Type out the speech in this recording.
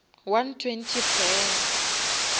one twenty fela